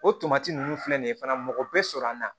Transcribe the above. O tomati ninnu filɛ nin ye fana mɔgɔ bɛ sɔrɔ an na